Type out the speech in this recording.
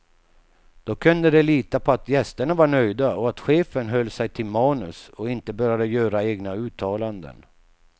Då kunde de lita på att gästerna var nöjda och att chefen höll sig till manus och inte började göra egna uttalanden.